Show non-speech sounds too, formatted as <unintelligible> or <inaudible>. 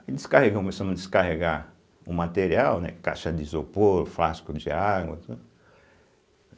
Aí descarregamos, começamos a descarregar o material, né, caixa de isopor, frasco de água <unintelligible>